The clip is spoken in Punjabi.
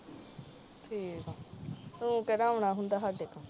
ਠੀਕ ਆ ਤੂੰ ਕਿਹੜਾ ਆਉਣਾ ਹੁੰਦਾ ਸਾਡੇ ਕੋਲ